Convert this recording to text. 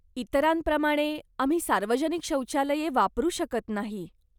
इतरांप्रमाणे, आम्ही सार्वजनिक शौचालये वापरू शकत नाही.